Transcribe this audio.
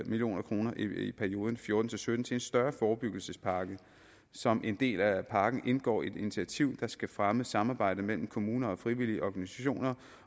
million kroner i perioden fjorten til sytten til en større forebyggelsespakke som en del af pakken indgår et initiativ der skal fremme samarbejdet mellem kommuner og frivillige organisationer